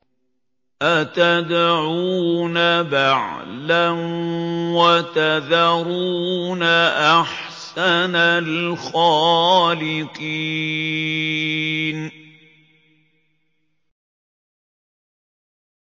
أَتَدْعُونَ بَعْلًا وَتَذَرُونَ أَحْسَنَ الْخَالِقِينَ